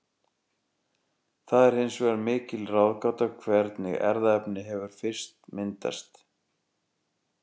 Það er hins vegar mikil ráðgáta hvernig erfðaefni hefur fyrst myndast.